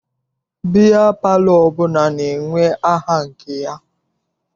Biya palọ ọbụla na-enwe aha nke ya.